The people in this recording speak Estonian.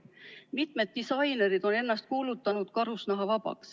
Mitmed disainerid on ennast kuulutanud karusnahavabaks.